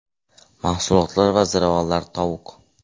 Mahsulotlar va ziravorlar Tovuq.